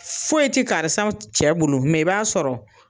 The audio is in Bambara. Foyi tɛ karisaw cɛ bolo mɛ i b'a sɔrɔ